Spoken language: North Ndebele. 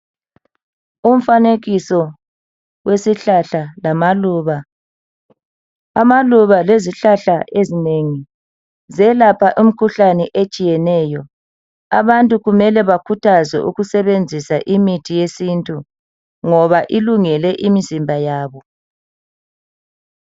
Umfanekiso wesihlahla lamaluba, amaluba lezihlahla ezinengi ziyelapha imikhuhlane etshiyeneyo abantu kumele bekhuthazwe ukusebenzisa imithi yesintu ngoba ilungele imizimba yabo.